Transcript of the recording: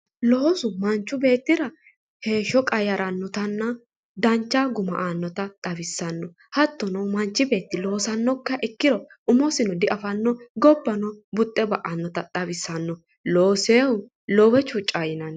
loosu manchi beettira heeshsho qayyarannoha ikkinotanna dancha guma aannota xawissanno haattono manchi beetti loosannokkiha ikkiro umosino diafanno gobbano buxxe ba'annota xawissanno loosinohu loowe chuucanno yinanni.